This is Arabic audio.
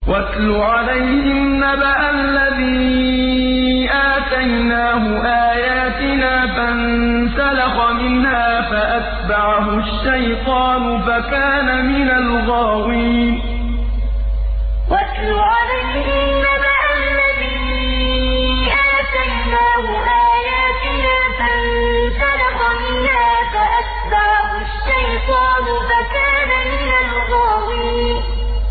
وَاتْلُ عَلَيْهِمْ نَبَأَ الَّذِي آتَيْنَاهُ آيَاتِنَا فَانسَلَخَ مِنْهَا فَأَتْبَعَهُ الشَّيْطَانُ فَكَانَ مِنَ الْغَاوِينَ وَاتْلُ عَلَيْهِمْ نَبَأَ الَّذِي آتَيْنَاهُ آيَاتِنَا فَانسَلَخَ مِنْهَا فَأَتْبَعَهُ الشَّيْطَانُ فَكَانَ مِنَ الْغَاوِينَ